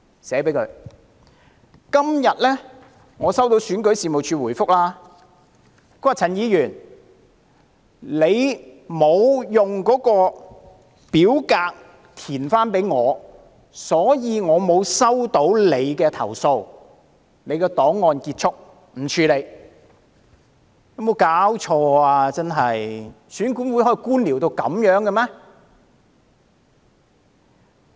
我今天收到選舉事務處的回覆："陳議員，你沒有交回已填寫的表格，所以我們沒有收到你的投訴，你的檔案就此結束，不會處理"。